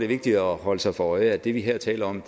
vigtigt at holde sig for øje at det vi her taler om